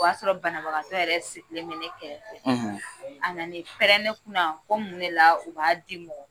O y'a sɔrɔ banabagatɔ yɛrɛ sigilen bɛ ne kɛrɛ fɛ; ; A nani pɛrɛn ne kunna ko mun de la u b'a di'i